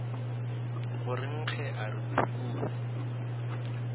go rengge a re phukubje